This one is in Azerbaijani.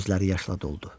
Gözləri yaşla doldu.